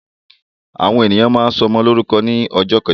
Àwọn èèyàn máa ń sọmọ lórúkọ ní ọjọ́ kẹjọ